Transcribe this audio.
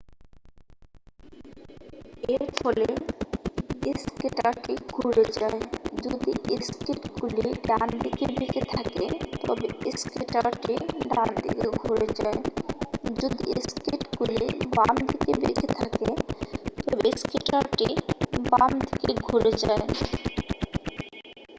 এর ফলে স্কেটারটি ঘুরে যায় যদি স্কেটগুলি ডানদিকে বেঁকে থাকে তবে স্কেটারটি ডানদিকে ঘুরে যায় যদি স্কেটগুলি বাম দিকে বেঁকে থাকে তবে স্কেটারটি বাম দিকে ঘুরে যায়